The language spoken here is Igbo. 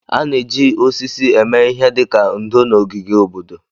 A na-eji osisi eme ihe dị ka ndò na ogige obodo.